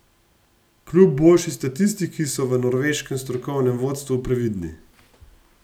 Kljub boljši statistiki , so v norveškem strokovnem vodstvu previdni.